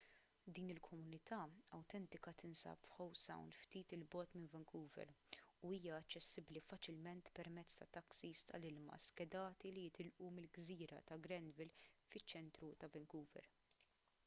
din il-komunità awtentika tinsab f'howe sound ftit il bogħod minn vancouver u hija aċċessibbli faċilment permezz tat-taksis tal-ilma skedati li jitilqu mill-gżira ta' granville fiċ-ċentru ta' vancouver